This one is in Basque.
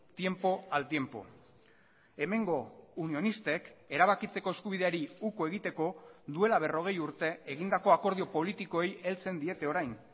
tiempo al tiempo hemengo unionistek erabakitzeko eskubideari uko egiteko duela berrogei urte egindako akordio politikoei heltzen diete orain